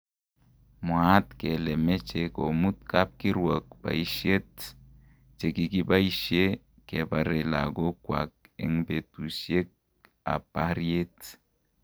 Mwqat kele meche komut kapkirwok baishet chekikibaishe kebare lakok kwak eng betusuiek ap paryet